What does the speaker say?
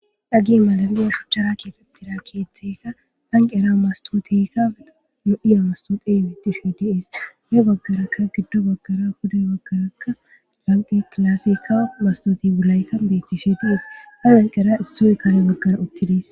Hage mala shucchara keexeththida keeththaykka lanqqera masththootheekka lo7iya masththoothee beeththishee de7ees; ya baggerakka giddo baggara pude baggarakka lanqqe klaaseekka masththoothe buraykka beeththishee de7ees; a lanqqeera issoy kare uththidi de7ees.